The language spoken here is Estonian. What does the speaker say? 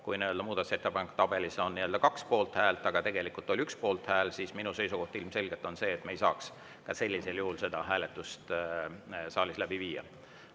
Kui muudatusettepanekute tabelis on 2 poolthäält, aga tegelikult oli 1 poolthääl, siis minu seisukoht ilmselgelt on see, et me ei saaks sellisel juhul seda hääletust saalis läbi viia.